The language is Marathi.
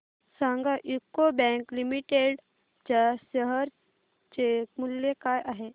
सांगा यूको बँक लिमिटेड च्या शेअर चे मूल्य काय आहे